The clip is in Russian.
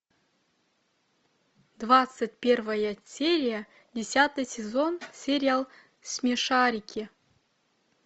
двадцать первая серия десятый сезон сериал смешарики